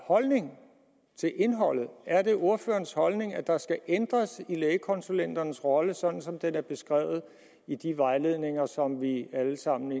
holdning til indholdet er det ordførerens holdning at der skal ændres i lægekonsulenternes rolle sådan som den er beskrevet i de vejledninger som vi alle sammen